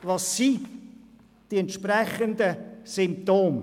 Welches sind die entsprechenden Symptome?